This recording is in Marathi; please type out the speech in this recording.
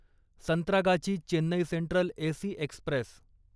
Santragachi Chennai Central AC Express